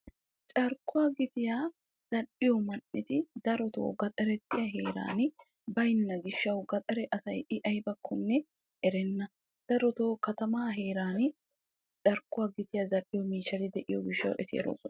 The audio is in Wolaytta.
Carkkuwa gitiya zal'iya miishshatti gandda heeran baynna gishshawu darotto gandda asay i aybbakko erenna ambba keehi erees.